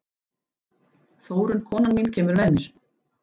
Þórunn, konan mín, kemur með mér.